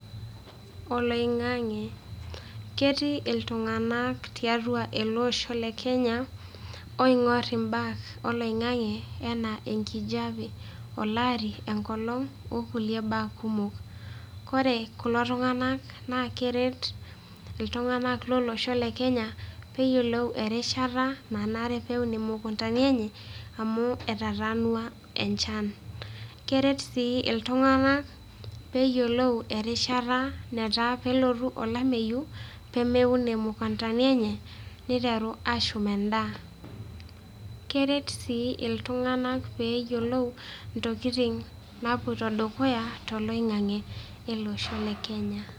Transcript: Oloing'ang'e. Ketii iltung'anak tiatua ele osho le Kenya, ooing'or imbaa oloing'ang'e enaa enkijape, olari, enkolong' o kulie baa kumok. Ore kulo tung'anak naa keret iltung'anak lolosho le Kenya pee eyiolou erishata pee eun imukuntani enye, amu etataanua enchan. Keret sii iltung'anak pee eyiolou netaa kelotu olameyiu pee meun imukuntani enye, neiteru aashum endaa. Keret sii iltung'anak pee eyiolou intokin naapuoito dukuya toloing'ang'e eloosho le Kenya